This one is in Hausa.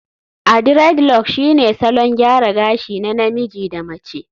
aDreadlocks shine salon gyara gashi na namiji da mace